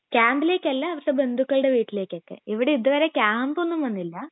ക്യാമ്പിലേക്കല്ല പക്ഷെ ബന്ധുക്കളുടെ വീട്ടിലേക്ക് ഒക്കെ ഇവിടെ ഇതുവരെ ക്യാമ്പ് ഒന്നും വന്നില്ല